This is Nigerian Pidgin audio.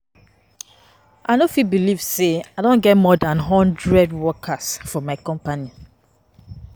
I no fit believe say I don get more dan hundred workers for my company